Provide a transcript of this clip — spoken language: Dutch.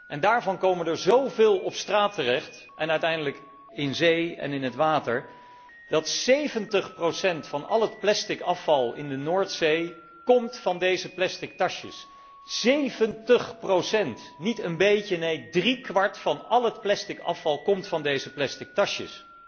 En daarvan komen er zoveel op straat terecht en uiteindelijk in zee en in het water, dat 70 van al het plastic afval in de Noordzee komt van deze plastic tasjes. 70, niet een beetje, neen, driekwart van al het plastic afval komt van deze plastic tasjes.